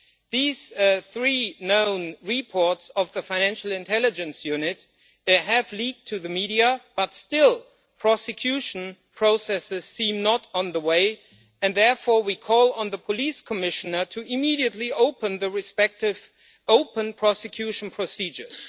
These three known reports of the Financial Intelligence Unit have leaked to the media, but still prosecution processes seem not to be on the way and therefore, we call on the Police Commissioner to immediately open respective prosecution procedures.